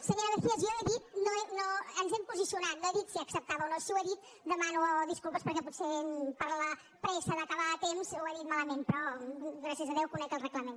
senyora mejías jo he dit ens hem posicionat no he dit si acceptava o no i si ho he dit demano disculpes perquè potser per la pressa d’acabar a temps ho he dit malament però gràcies a déu conec el reglament